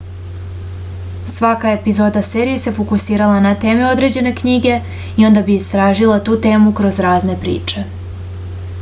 svaka epizoda serije se fokusirala na teme određene knjige i onda bi istražila tu temu kroz razne priče